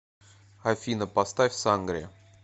афина поставь сангрия